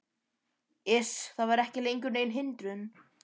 Iss. það var ekki lengur nein hindrun.